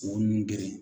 U nun geren